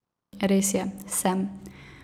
Res je, sem.